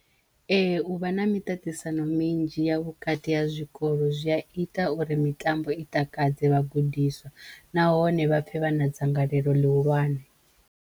Ee u vha na miṱaṱisano minzhi ya vhukati ha zwikolo zwi ya ita uri mitambo i takadze vhagudiswa nahone vhapfe vha na dzangalelo ḽihulwane.